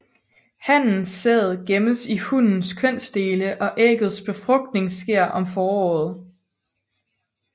Hannens sæd gemmes i hunnens kønsdele og æggets befrugtning sker om foråret